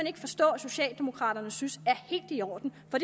ikke forstå at socialdemokraterne synes er helt i orden og